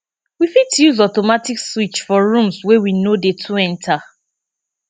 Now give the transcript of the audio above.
we fit use automatic switch for rooms wey we no dey too enter